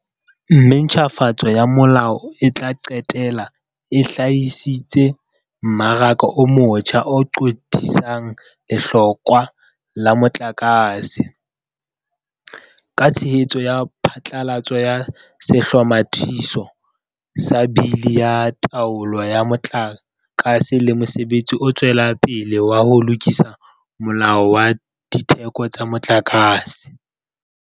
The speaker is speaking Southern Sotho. Mme ntjhafatso ya molao e tla qetella e hlahisitse mmaraka o motjha o qothisang lehlokwa la motlakase, ka tshehetso ya phatlalatso ya Sehlomathiso sa Bili ya Taolo ya Motlaka se le mosebetsi o tswelang pele wa ho lokisa Molao wa Ditheko tsa Motlakase.